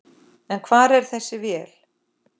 En hvar er þessi vél?